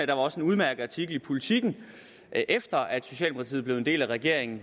var også en udmærket artikel i politiken efter at socialdemokratiet blev en del af regeringen